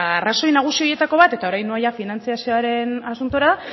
arrazoi nagusi horietako bat eta orain noa finantzazioaren asuntora